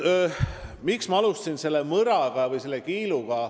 Miks ma alustasin selle mõra või kiiluga?